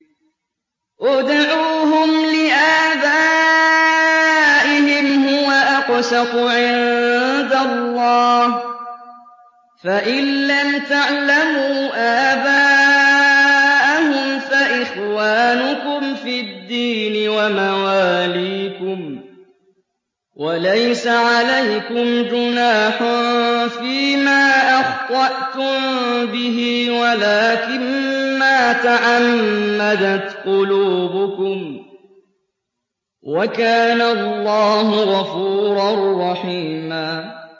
ادْعُوهُمْ لِآبَائِهِمْ هُوَ أَقْسَطُ عِندَ اللَّهِ ۚ فَإِن لَّمْ تَعْلَمُوا آبَاءَهُمْ فَإِخْوَانُكُمْ فِي الدِّينِ وَمَوَالِيكُمْ ۚ وَلَيْسَ عَلَيْكُمْ جُنَاحٌ فِيمَا أَخْطَأْتُم بِهِ وَلَٰكِن مَّا تَعَمَّدَتْ قُلُوبُكُمْ ۚ وَكَانَ اللَّهُ غَفُورًا رَّحِيمًا